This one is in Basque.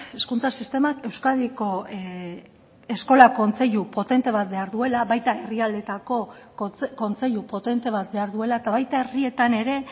hezkuntza sistemak euskadiko eskola kontseilu potente bat behar duela baita herrialdeetako kontseilu potente bat behar duela eta baita herrietan ere